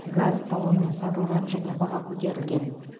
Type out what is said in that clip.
газ талонмен сатылған және баға көтерілген